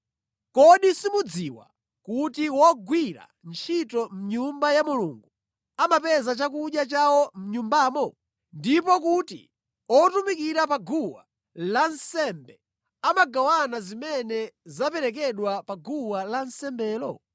Kodi simukudziwa kuti wogwira ntchito mʼNyumba ya Mulungu amapeza chakudya chawo mʼNyumbamo, ndipo kuti otumikira pa guwa lansembe amagawana zimene zaperekedwa pa guwa lansembelo.